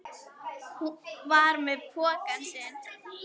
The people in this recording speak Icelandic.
Hún var með pokann sinn.